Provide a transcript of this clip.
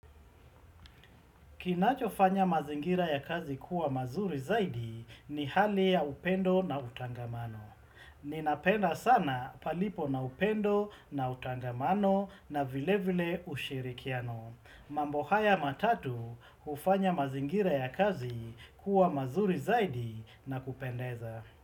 Kinachofanya mazingira ya kazi kuwa mazuri zaidi ni hali ya upendo na utangamano. Ninapenda sana palipo na upendo na utangamano na vile vile ushirikiano. Mambo haya matatu hufanya mazingira ya kazi kuwa mazuri zaidi na kupendeza.